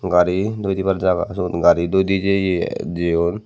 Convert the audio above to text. gari doi dibar jaga suot gari doi de jeye.